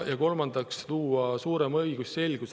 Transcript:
Kolmandaks on vaja luua suurem õigusselgus.